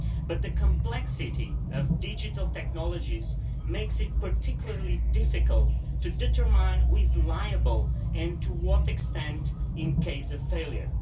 But the complexity of digital technologies makes it particularly difficult to determine who is liable and to what extent in case of failure.